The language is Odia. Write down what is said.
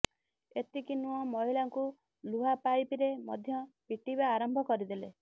ଏତିକି ନୁହଁ ମହିଳାଙ୍କୁ ଲୁହା ପାଇପ୍ ରେ ମଧ୍ୟ ପିଟିବା ଆରମ୍ଭ କରିଦେଲେ